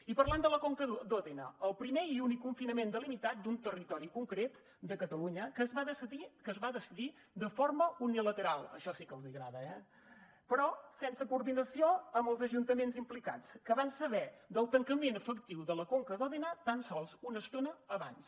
i parlant de la conca d’òdena el primer i únic confinament delimitat d’un territori concret de catalunya que es va decidir de forma unilateral això sí que els agrada eh però sense coordinació amb els ajuntaments implicats que van saber del tancament efectiu de la conca d’òdena tan sols una estona abans